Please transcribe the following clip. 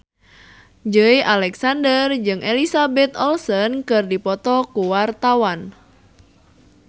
Joey Alexander jeung Elizabeth Olsen keur dipoto ku wartawan